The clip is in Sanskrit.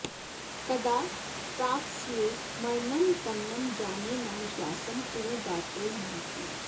कदा प्राप्स्ये मरणं तन्न जाने न विश्वासं कुरु गात्रे महात्मन्